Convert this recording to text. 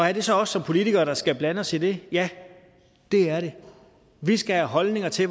er det så os som politikere der skal blande os i det ja det er det vi skal have holdninger til